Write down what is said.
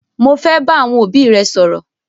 Mọ fẹ́ bá àwọn obì rẹ̀ sọ̀rọ.